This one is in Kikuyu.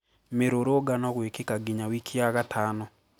Mĩrũrũngao gwĩkĩka nginya wiki ya gatano